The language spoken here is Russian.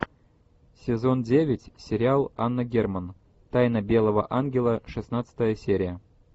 сезон девять сериал анна герман тайна белого ангела шестнадцатая серия